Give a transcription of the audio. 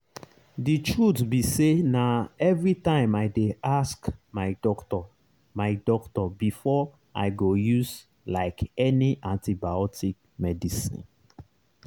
the truth be sayna everytime i dey ask my doctor my doctor before i go use like any antibiotic medicine.